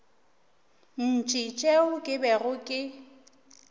ntši tšeo ke bego ke